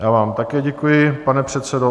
Já vám také děkuji, pane předsedo.